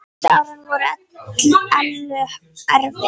Síðustu árin voru Ellu erfið.